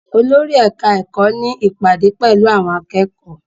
Olórí ẹ̀ka-ẹ̀kọ́ ní ìpàdé pẹ̀lú àwọn akẹ́kọ̀ọ́?